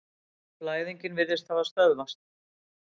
Blæðingin virðist hafa stöðvast.